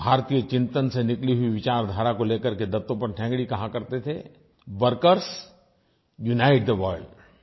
भारतीय चिंतन से निकली हुई विचारधारा को ले करके दत्तोपन्त ठेंगड़ी कहा करते थे वर्कर्स यूनाइट थे वर्ल्ड